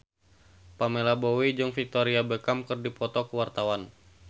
Pamela Bowie jeung Victoria Beckham keur dipoto ku wartawan